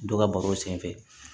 Dɔ ka baro senfɛ